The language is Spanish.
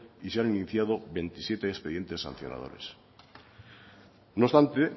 y se han iniciado veintisiete expedientes sancionadores no obstante